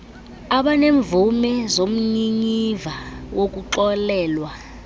abanemvume zomnyinyiva wokuxolelwa